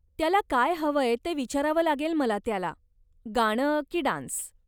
त्याला काय हवंय ते विचारावं लागेल मला त्याला, गाणं की डान्स.